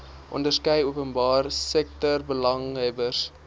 onderskeie openbare sektorbelanghebbers